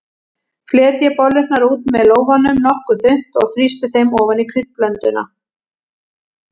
Fletjið bollurnar út með lófanum nokkuð þunnt og þrýstið þeim ofan í kryddblönduna.